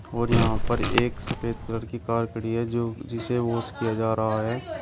और यहां पर एक सफेद कलर की कार खड़ी है जो जिसे वाश किया जा रहा है।